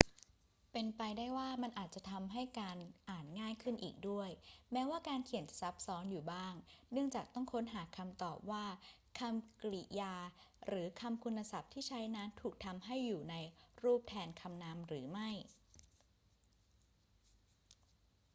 เป็นไปได้ว่ามันอาจจะทำให้การอ่านง่ายขึ้นอีกด้วย แม้ว่าการเขียนจะซับซ้อนอยู่บ้างเนื่องจากต้องค้นหาคำตอบว่าคำกริยาหรือคำคุณศัพท์ที่ใช้นั้นถูกทำให้อยู่ในรูปแทนคำนามหรือไม่